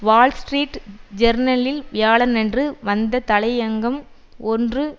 Wall Street ஜேர்னலில் வியாழனன்று வந்த தலையங்கம் ஒன்று